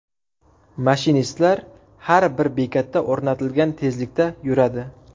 Mashinistlar har bir bekatda o‘rnatilgan tezlikda yuradi.